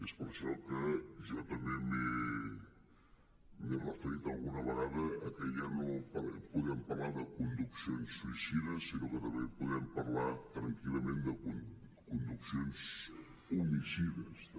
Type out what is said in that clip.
és per això que jo també m’he referit alguna vegada a que ja no podem parlar de conduccions suïcides sinó que també podem parlar tranquil·lament de conduccions homicides també